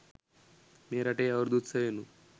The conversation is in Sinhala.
මේ රටේ අවුරුදු උත්සවයෙනුත්